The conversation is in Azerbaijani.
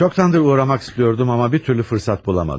Çoxdandır uğramaq istiyordum, amma bir türlü fırsat bulamadım.